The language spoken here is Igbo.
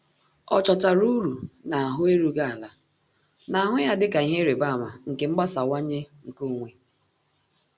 Ọ́ chọ́tárà uru n’áhụ́ érúghị́ álá, nà-àhụ́ ya dịka ihe ịrịba ama nke mgbasawanye nke onwe.